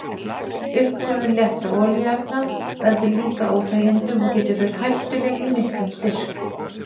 Uppgufun léttra olíuefna veldur líka óþægindum og getur verið hættuleg í miklum styrk.